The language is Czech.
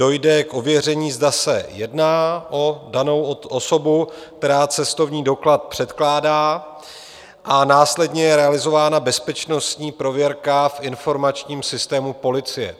Dojde k ověření, zda se jedná o danou osobu, která cestovní doklad předkládá, a následně je realizována bezpečnostní prověrka v informačním systému policie.